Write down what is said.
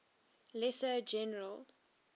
lesser general